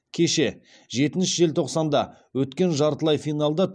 кеше жетінші желтоқсанда өткен жартылай финалда